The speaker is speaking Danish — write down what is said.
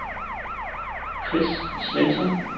Chris Svensson